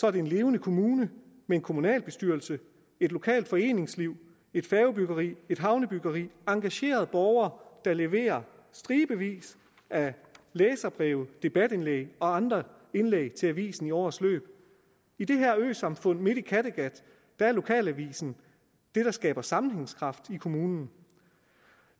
er det en levende kommune med en kommunalbestyrelse et lokalt foreningsliv et færgebyggeri et havnebyggeri og engagerede borgere der leverer stribevis af læserbreve og debatindlæg og andre indlæg til avisen i årets løb i det øsamfund midt i kattegat er lokalavisen det der skaber sammenhængskraft i kommunen